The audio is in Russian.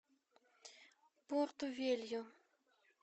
порту велью